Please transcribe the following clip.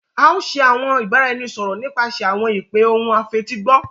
A o ṣe ibaraẹnisọrọ nipasẹ awọn ipe ohùn afetigbọ